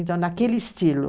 Então, naquele estilo.